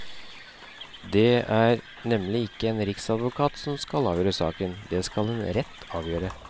Det er nemlig ikke en riksadvokat som skal avgjøre saken, den skal en rett avgjøre.